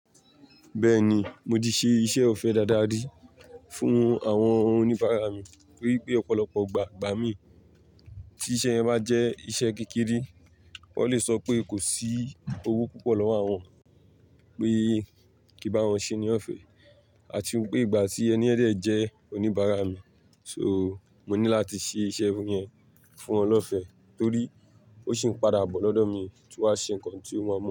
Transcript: Bẹ́ẹ̀ni, mo ti ṣe iṣẹ́ ọ̀fẹ́ dáadáa rí fún àwọn oníbàárà mi torí pé ọ̀pọ̀lọpọ̀ igbà igba mí tí iṣẹ́ yẹn bá jẹ́ iṣẹ́ kékeré. Wọ́n lè sọ pé kò sí owó púpọ̀ lọ́wọ́ àwọn pé kí n bá wọn ṣe ní ọ̀fẹ́ àti wípé ìgbà tí ẹni dẹ̀ jẹ́ oníbàárà mi, so mo ní láti ṣe iṣẹ́ yẹn fún wọn lọ́fẹ́ torí ó sì ń padà bọ́ lọ́dọ̀ mi tun wa ṣe nǹkan tí o maa mu.